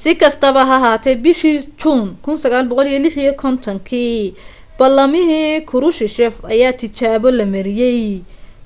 si kastaba ha ahaatee bishii juun 1956 ballamihii krushchev ayaa tijaabo la mariyay